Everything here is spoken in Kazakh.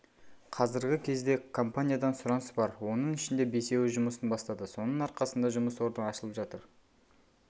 қазіргі кезде компаниядан сұраныс бар оның ішінде бесеуі жұмысын бастады соның арқасында жұмыс орны ашылып жатыр